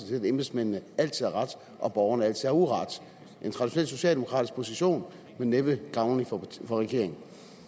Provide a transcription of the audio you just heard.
til at embedsmændene altid har ret og at borgerne altid har uret en traditionel socialdemokratisk position men næppe gavnlig for regeringen